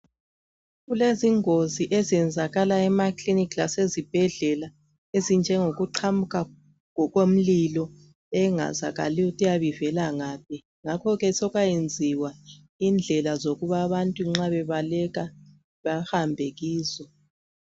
Kulezingozi ezenzakalayo emakilinika lasezibhedlela ezinjengokuqhamuka komlilo engazakaliyo ukuthi iyabe ivela ngaphi ngakho ke sokwayenziwa indlela zokuba abantu nxa bebaleka bahambe kizo.